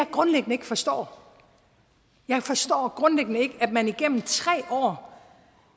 grundlæggende ikke forstår er at man igennem tre år